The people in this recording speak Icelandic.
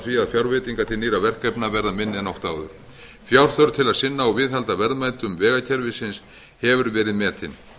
að fjárveitingar til nýrra verkefna verða minni en oft áður fjárþörf til að sinna og viðhalda verðmætum vegakerfisins hefur verið metin